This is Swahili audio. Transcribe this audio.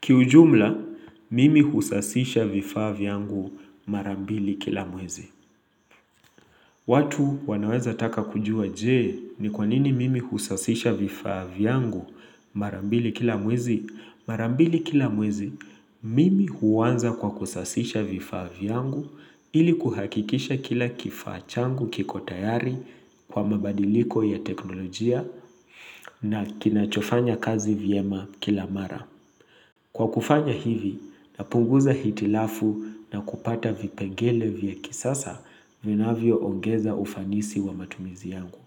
Kiujumla, mimi husasisha vifaa vyangu mara mbili kila mwezi. Watu wanaweza taka kujua je, ni kwanini mimi husasisha vifaa vyangu mara mbili kila mwezi? Mara mbili kila mwezi, mimi huanza kwa kusasisha vifaa vyangu ili kuhakikisha kila kifaa changu kiko tayari kwa mabadiliko ya teknolojia na kinachofanya kazi vyema kila mara. Kwa kufanya hivi, napunguza hitilafu na kupata vipengele vya kisasa vinavyoongeza ufanisi wa matumizi yangu.